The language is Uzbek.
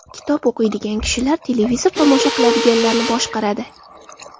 Kitob o‘qiydigan kishilar televizor tomosha qiladiganlarni boshqaradi.